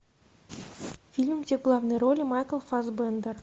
фильм где в главной роли майкл фассбендер